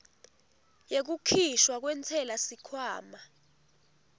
yekukhishwa kwentsela sikhwama